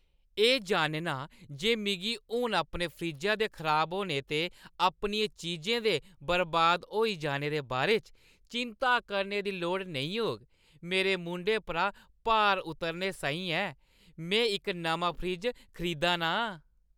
एह् जानना जे मिगी हून अपने फ्रिज्जै दे खराब होने ते अपनियें चीजें दे बर्बाद होई जाने दे बारे च चिंता करने दी लोड़ नेईं होग, मेरे मूंढें परा भार उतरने साहीं ऐ। में इक नमां फ्रिज खरीदा ना आं।